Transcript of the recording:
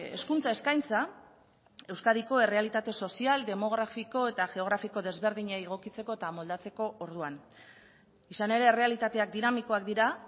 hezkuntza eskaintza euskadiko errealitate sozial demografiko eta geografiko desberdinei egokitzeko eta moldatzeko orduan izan ere errealitateak dinamikoak dira